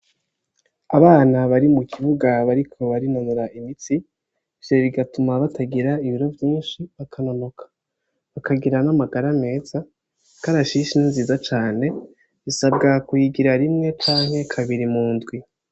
Abana bari mu kibuga bariko barinonora imitsi, ivyo bigatuma batagira ibiro vyinshi bakanonoka, bakagira n' amagara meza ikarashishi ni nziza cane bisabwa kuyigira rimwe canke kabiri mu ndwi.